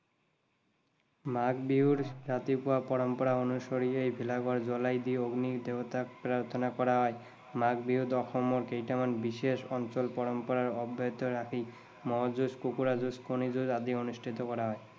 মাঘ বিহুৰ ৰাতিপুৱা পৰম্পৰা অনুসৰি এই ভেলা ঘৰ জ্বলাই দি অগ্নি দেৱতাক প্ৰাৰ্থনা কৰা হয়। মাঘ বিহুত অসমৰ কেইটামান বিশেষ অঞ্চলত পৰম্পৰা অব্যাহত ৰাখি মঁহ যুজ, কুকুৰা যুজ, কণী যুজ আদি অনুষ্ঠিত কৰা হয়।